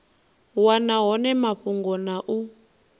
wana hone mafhungo na u